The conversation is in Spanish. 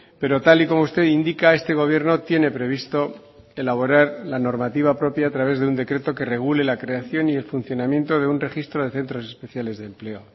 pero tal y como usted indica este gobierno tiene previsto elaborar la normativa propia a través de un decreto que regule la creación y el funcionamiento de un registro de centros especiales de empleo